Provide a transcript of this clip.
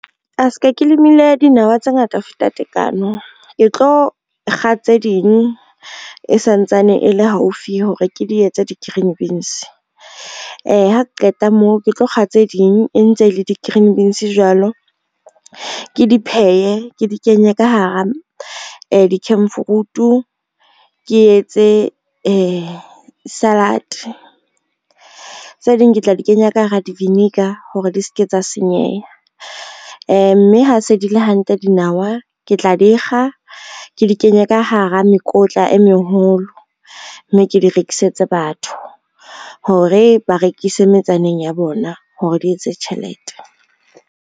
Se ka ke lemile dinawa tse ngata ho feta tekano, ke tlo kga tse ding e santsane e le haufi hore ke di etse di-green beans, ha ke qeta moo ke tlo kga tse ding e ntse le di-green beans jwalo ke di phehe ke di kenye ka hara dikhemfuruto ke etse salad. Tse ding ke tla di kenya ka hara di-vinegar hore di ske tsa senyeha, mme ha se di le hantle dinawa ke tla di kga, ke di kenye ka hara mekotla e meholo mme ke di rekisetse batho, hore ba rekise metsaneng ya bona hore di etse tjhelete.